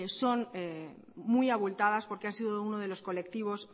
son muy abultadas porque han sido uno de los colectivos